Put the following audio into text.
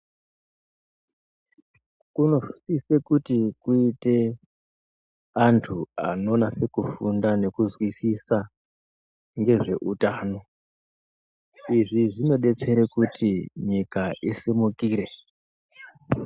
Kunosise kuti kuite antu anonase kufunda nekuzwisisa ngezveutano. Izvi zvinodetsera kuti nyika isimukire.